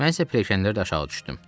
Mən isə pilləkənlərdən aşağı düşdüm.